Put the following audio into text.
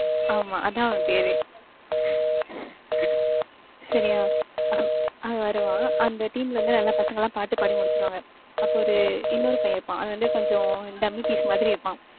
ஆமா, அதான் அவன் பேரே. சரியா? அவன் அவன் வருவான். அந்த team ல இருந்து நல்ல பசங்கெல்லாம் பாட்டு பாடி முடிச்சிருவாங்க. அப்ப ஒரு இன்னொரு பையன் இருப்பான். அவன் வந்து கொஞ்சம் dummy piece மாதிரி இருப்பான்.